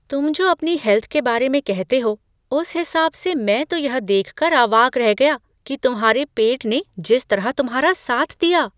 तुम जो अपनी हेल्थ के बारे में कहते हो, उस हिसाब से मैं तो यह देख कर अवाक रह गया तुम्हारे पेट ने जिस तरह तुम्हारा साथ दिया।